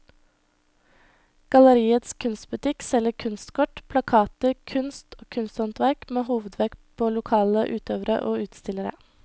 Galleriets kunstbutikk selger kunstkort, plakater, kunst og kunsthåndverk med hovedvekt på lokale utøvere og utstillere.